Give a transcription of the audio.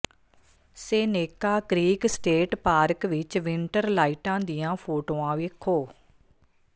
Seneca Creek State Park ਵਿਚ winter ਲਾਈਟਾਂ ਦੀਆਂ ਫੋਟੋਆਂ ਵੇਖੋ